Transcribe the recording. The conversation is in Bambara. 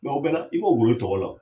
o bɛ la i b'o wo i tɔgɔ la